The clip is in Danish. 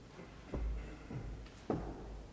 tak for